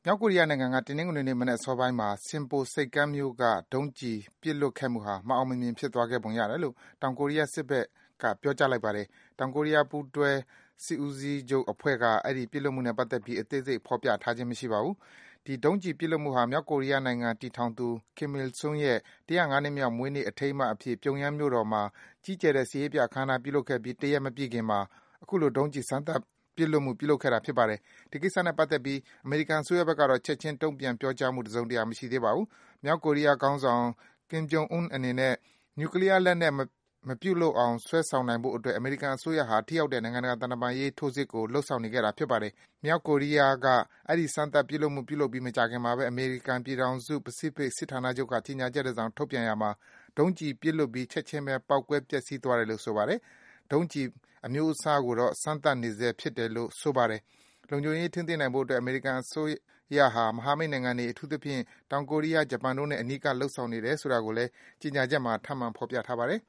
ောက်ကိုရီးယားနိုင်ငံက တနင်္ဂနွေနေ့ မနက်အစောပိုင်းမှာ Sinpo ဆိပ်ကမ်းမြို့က ဒုံးကျည် ပစ်လွှတ်ခဲ့မှုဟာ မအောင်မမြင် ဖြစ်သွားခဲ့ပုံ ရတယ်လို့ တောင်ကိုရီးယား စစ်ဘက်က ပြောကြားလိုက်ပါတယ်။ တောင်ကိုရီးယား ပူးတွဲစစ်ဦးစီးချုပ်အဖွဲ့က အဲဒီ ပစ်လွတ်မှုနဲ့ ပတ်သက်ပြီး အသေးစိတ် ဖော်ပြထားခြင်း မရှိပါဘူး။ မြောက်ကိုရီးယားနိုင်ငံ တည်ထောင်သူ Kim Il Sung ရဲ့ ၁၀၅ နှစ်မြောက် မွေးနေ့ အထိမ်းအမှတ်အဖြစ် ပြုံယမ်း မြို့တော်မှာ ကြီးကျယ်တဲ့ စစ်ရေးပြ အခမ်းအနား ပြုလုပ်ခဲ့ပြီး တရက် မပြည့်ခင်မှာ အခုလို ဒုံးကျည် စမ်းသပ် ပစ်လွှတ် ပြုလုပ်ခဲ့တာ ဖြစ်ပါတယ်။ ဒီကိစ္စနဲ့ပတ်သက်ပြီး အမေရိကန်အစိုးရဘက်ကတော့ ချက်ခြင်း တုံ့ပြန် ပြောကြားမှု တစုံတရာ မရှိသေးပါဘူး။ မြောက်ကိုရီးယား ခေါင်းဆောင် Kim Jong Un အနေနဲ့ နျူကလီးယား လက်နက် မပြုလုပ်အောင် ဆွဲဆောင်နိုင်ဖို့အတွက် အမေရိကန်အစိုးရဟာ ထိရောက်တဲ့ နိုင်ငံတကာ သံတမန်ရေး ထိုးစစ်ကို လုပ်ဆောင်နေခဲ့တာ ဖြစ်ပါတယ်။ မြောက်ကိုရီးယားက အဲဒီ စမ်းသပ် ပစ်ခတ်မှုပြုလုပ်ပြီး မကြာခင်မှာပဲ အမေရိကန် ပြည်ထောင်စု ပစိဖိတ် စစ်ဌာနချုပ်က ကြေညာချက် တစောင် ထုတ်ပြန်ရာမှာ ဒုံးကျည်ဟာ ပစ်လွတ်ပြီး ချက်ခြင်းပဲ ပေါက်ကွဲ ပျက်စီးသွားတယ်လို့ ဆိုပါတယ်။ ဒုံးကျည် အမျိုးအစားကိုတော့ စမ်းသပ်နေဆဲ ဖြစ်တယ်လို့ ဆိုပါတယ်။ လုံခြုံရေး ထိန်းသိမ်းနိုင်ဖို့အတွက် အမေရိကန် အစိုးရဟာ မဟာမိတ်နိုင်ငံတွေ၊ အထူးသဖြင့် တောင်ကိုရီးယား၊ ဂျပန်တို့နဲ့ အနီးကပ် လုပ်ဆောင်နေတယ်လို့ ဆိုတာကိုလည်း ကြေညာချက်မှာ ထပ်မံ ဖော်ပြထားပါတယ်။